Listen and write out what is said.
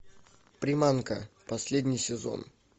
приманка последний сезон